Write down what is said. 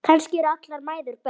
Kannski eru allar mæður börn.